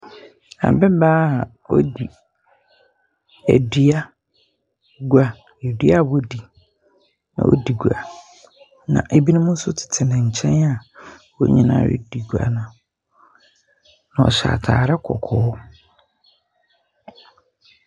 Ababaa a odi adua gua. Dua a wɔdi. Ɔredi gua. Na ebinom ns tete ne nkyɛn a wɔn nyinaa redi gua no. Wɔhyɛ ataare kɔkɔɔ.